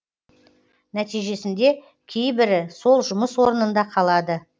нәтижесінде кейбірі сол жұмыс орнында қалады